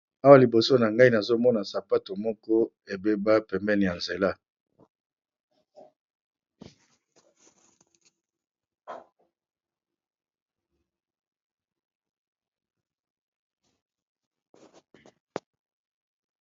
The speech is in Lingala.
Awa liboso na ngai nazo mona sapato moko ebeba pembeni ya nzela.